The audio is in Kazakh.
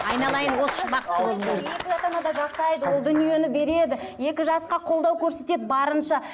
ол дүниені береді екі жасқа қолдау көрсетеді барынша